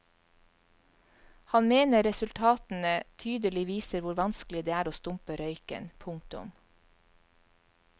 Han mener resultatene tydelig viser hvor vanskelig det er å stumpe røyken. punktum